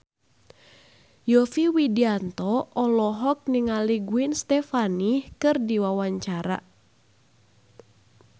Yovie Widianto olohok ningali Gwen Stefani keur diwawancara